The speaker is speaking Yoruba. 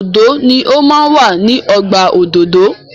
Òdòdó ni o máa ń wà ní ọgbà òdòdó.